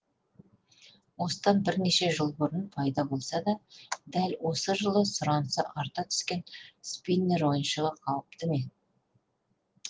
осыдан бірнеше жыл бұрын пайда болса да дәл осы жылы сұранысы арта түскен спиннер ойыншығы қауіпті ме